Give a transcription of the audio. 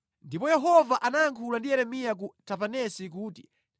Ndipo Yehova anayankhula ndi Yeremiya ku Tapanesi kuti,